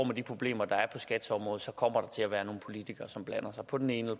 med de problemer der er på skats område kommer til at være nogle politikere som blander sig på den ene